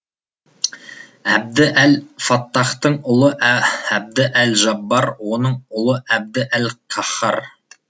әбді әл фаттахтың ұлы әбді әл жаббар оның ұлы әбді әл қаһһар